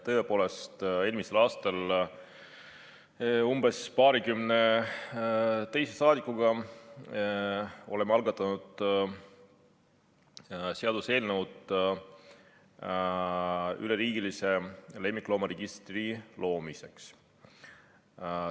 Tõepoolest, eelmisel aastal algatasime umbes paarikümne rahvasaadikuga seaduseelnõu üleriigilise lemmikloomaregistri loomiseks.